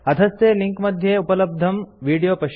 अधस्थे लिंक मध्ये उपलब्धं विडियो पश्यन्तु